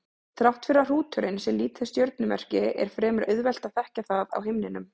Þrátt fyrir að hrúturinn sé lítið stjörnumerki er fremur auðvelt að þekkja það á himninum.